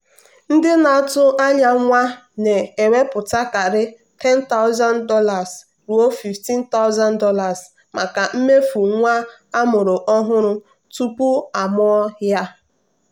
ndị na-atụ anya nwa na-ewepụtakarị $10000 ruo $15000 maka mmefu nwa amụrụ ọhụrụ tupu amụọ ya.